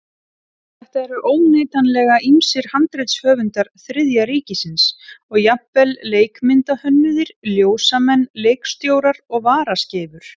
Þarna eru óneitanlega ýmsir handritshöfundar Þriðja ríkisins og jafnvel leikmyndahönnuðir, ljósamenn, leikstjórar og varaskeifur.